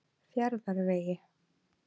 Fjarðarvegi